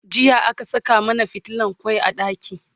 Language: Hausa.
jiya aka Saka mana fitilan kwai a ɗaki